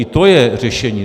I to je řešení.